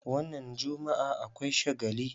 Wannan jummu'a akwai shagali.